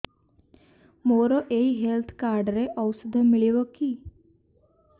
ମୋର ଏଇ health card ରେ ଔଷଧ ମିଳିବ କି